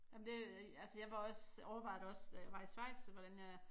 Jamen det altså jeg var også overvejede det også da jeg var Schweiz hvordan jeg